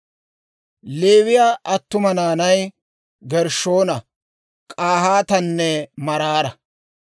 Leewii attuma naanay Gershshoona, K'ahaatanne Maraara.